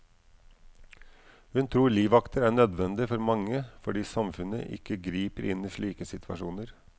Hun tror livvakter er nødvendig for mange, fordi samfunnet ikke griper inn i slike situasjoner.